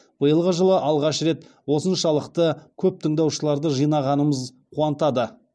биылғы жылы алғаш рет осыншалықты көп тыңдаушыларды жинағанымыз қуантады